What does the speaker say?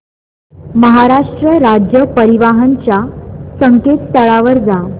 महाराष्ट्र राज्य परिवहन च्या संकेतस्थळावर जा